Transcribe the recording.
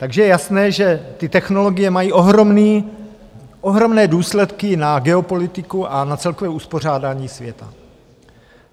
Takže je jasné, že ty technologie mají ohromné důsledky na geopolitiku a na celkové uspořádání světa.